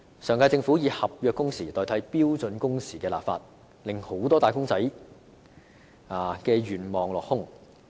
上屆政府以合約工時代替標準工時立法，令很多"打工仔"的願望落空。